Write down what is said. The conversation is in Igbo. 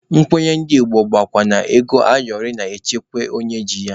Nkwenye ndị Igbo bụkwa na ego ayọrị na-echekwa onye ji ya.